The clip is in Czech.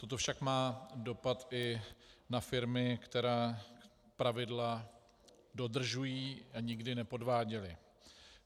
Toto však má dopad i na firmy, které pravidla dodržují a nikdy nepodváděly.